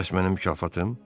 Bəs mənim mükafatım?